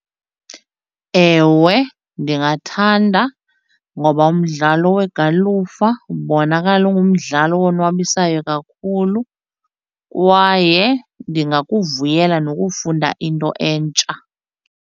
Ewe, ndingathanda ngoba umdlalo wegalufa ubonakala ungumdlalo owonwabisayo kakhulu kwaye ndingakuvuyela nokufunda into entsha.